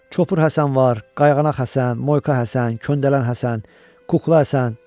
Çopur Həsən var, qayğanaq Həsən, moyka Həsən, köndələn Həsən, kukla Həsən.